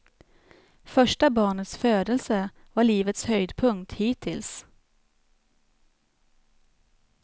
Första barnets födelse var livets höjdpunkt hittills.